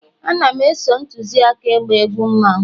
Ana m e-so ntuzi aka ịgba egwu mmanwu